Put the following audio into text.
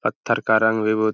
पत्थर का रंग भी बहु --